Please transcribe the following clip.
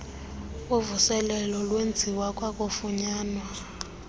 uvuselelo lwenziwa kwakufunyanwa